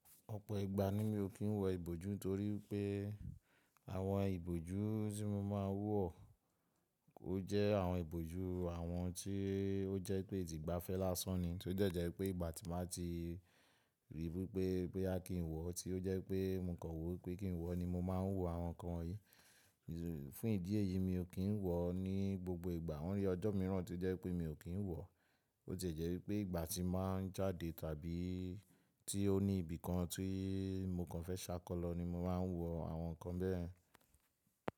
Ọ̀pọ̀ ìgbà ni mi ò kí ń wọ ìbòjú torí pé àwọn ìbòjú tí mo máa ń wọ, ó jẹ́ àwọn ìbòjú àwọn tí ó jẹ́ pé ti ìgbafẹ́ lásán ni, tí ó jẹ́ jẹ́ pé ìgbà tí màá ti ríi wípé pé a kì ń wọ, tí ó jẹ́ pé mo kàn wí pé kì ń wọ ni mo máa ń wọ àwọn nǹkan yìí. Fún ìdí èyí mi ò kí ń wọ ní gbogbo ìgbà. Mo rí ọjọ́ mìíràn to jẹ́ pé mi ò kí ń wọ, ó sì jẹ́ wípé ìgbà tí màá ń jáde tàbí tí ó ní ibìkan tí mo kàn fẹ́ ṣákọ́lọ ni mo máa ń wọ àwọn nǹkan bẹ́ẹ̀.